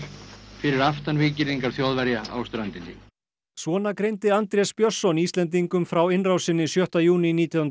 fyrir aftan víggirðingar Þjóðverja á ströndinni svona greindi Andrés Björnsson Íslendingum frá innrásinni sjötta júní nítján hundruð